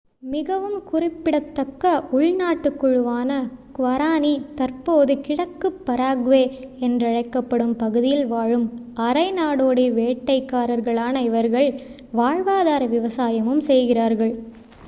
மிகவும் குறிப்பிடத்தக்க உள் நாட்டுக் குழுவான குவாரானி தற்போது கிழக்குப் பராகுவே என்றழைக்கப்படும் பகுதியில் வாழும் அரை நாடோடி வேட்டைக்காரர்களான இவர்கள் வாழ்வாதார விவசாயமும் செய்கிறார்கள்